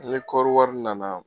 Ni kɔri wari nana